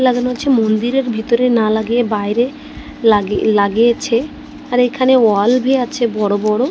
লাগানো আছে মন্দিরের ভিতরে না লাগিয়ে বাইরে লাগিয়ে লাগিয়েছে আর এখানে ওয়াল -ভি আছে বড় বড়।